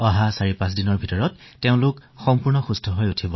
চাৰিপাঁচ দিনৰ ভিতৰতে তেওঁলোকো সুস্থ হৈ উঠিব